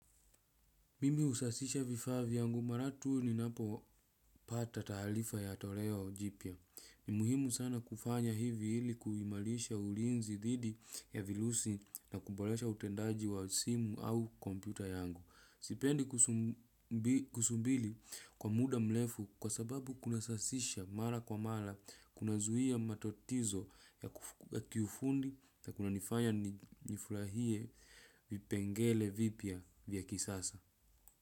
Mimi usasisha vifaa vyangu maratu ninapopata taarifa ya toleo jipya. Ni muhimu sana kufanya hivi hili kuimalisha ulinzi didi ya vilusi na kubolesha utendaji wa simu au kompyuta yangu. Sipendi kusumbili kwa muda mlefu kwa sababu kuna sasisha mara kwa mara kuna zuhia matatizo ya kiufundi na kunanifanya nifurahie vipengele vibya vya kisasa.